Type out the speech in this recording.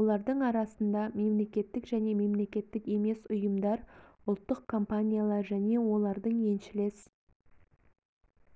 олардың арасында мемлекеттік және мемлекеттік емес ұйымдар ұлттық компаниялар және олардың еншілес